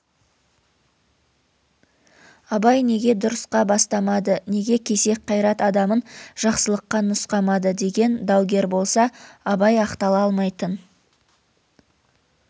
абай неге дұрысқа бастамады неге кесек қайрат адамын жақсылыққа нұсқамады деген даугер болса абай ақтала алмайтын